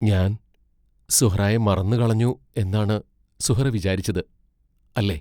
ഞാൻ സുഹ്റായെ മറന്നു കളഞ്ഞു എന്നാണ് സുഹ്റാ വിചാരിച്ചത്, അല്ലേ?